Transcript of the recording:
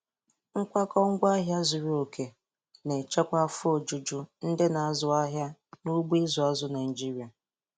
Nkwakọ ngwaahịa zuru oke na-echekwa afọ ojuju ndị na-azụ ahịa n'ugbo ịzụ azụ Naịjiria.